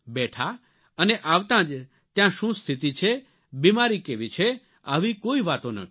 બેઠા અને આવતાં જ ત્યાં શું સ્થિતિ છે બીમારી કેવી છે આવી કોઇ વાતો ન કરી